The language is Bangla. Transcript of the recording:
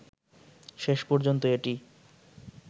শেষ পর্যন্ত এটি